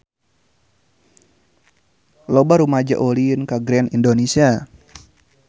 Loba rumaja ulin ka Grand Indonesia